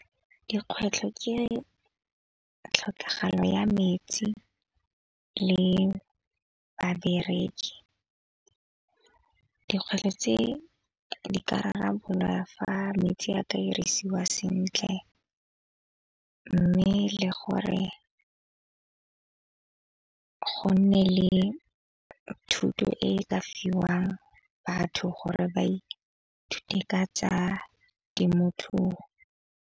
Dikgwetlho ke tlhokagalo ya metsi le babereki. Dikgwetlho tse di ka rarabololwa fa metsi a ka dirisiwa sentle mme le gore go nne le thuto e ka fiwang batho gore ba ithute ka tsa temothuo.